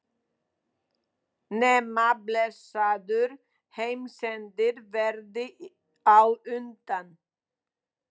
Nema blessaður heimsendir verði á undan.